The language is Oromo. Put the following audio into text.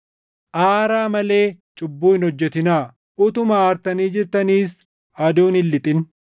“Aaraa malee cubbuu hin hojjetinaa;” + 4:26 \+xt Far 4:4\+xt* utuma aartanii jirtaniis aduun hin lixin;